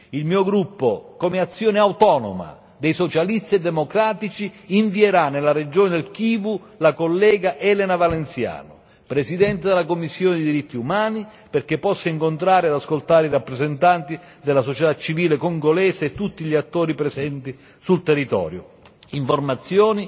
Il mio gruppo, come azione autonoma dei Socialisti e Democratici, invierà nella regione del Kivu la collega Elena Valenciano, presidente della sottocommissione per i diritti umani, perché possa incontrare ed ascoltare i rappresentanti della società civile congolese e tutti gli attori presenti sul territorio, raccogliendo informazioni